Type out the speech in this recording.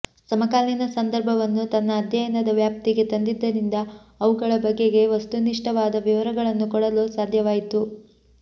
ಸಮಕಾಲೀನ ಸಂದರ್ಭವನ್ನು ತನ್ನ ಅಧ್ಯಯನದ ವ್ಯಾಪ್ತಿಗೆ ತಂದಿದ್ದರಿಂದ ಅವುಗಳ ಬಗೆಗೆ ವಸ್ತುನಿಷ್ಠವಾದ ವಿವರಗಳನ್ನು ಕೊಡಲು ಸಾಧ್ಯವಾಯಿತು